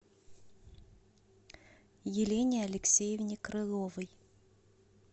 елене алексеевне крыловой